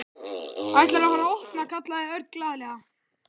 Ætlarðu að fara að opna? kallaði Örn glaðlega.